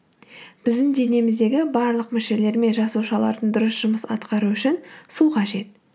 біздің денеміздегі барлық мүшелер мен жасушалардың дұрыс жұмыс атқаруы үшін су қажет